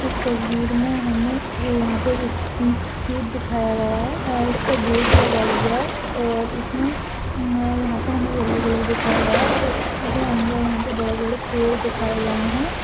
इस तस्वीर मे हमे ये यहा पे इस इंस्टीट्यूट दिखाया गया है और इसका गेट लगा हुआ है और इसमे अम यहा पर हमे येल्लो कलर दिखाया गया है और इस इंस्टीट्यूट के अंदर यहा पे बड़े बड़े पेड़ दिखाये गए है।